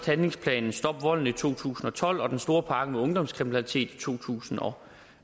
handlingsplanen stop volden i to tusind og tolv og den store pakke om ungdomskriminalitet i to tusind og